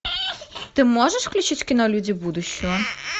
ты можешь включить кино люди будущего